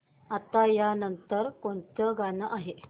आता या नंतर कोणतं गाणं आहे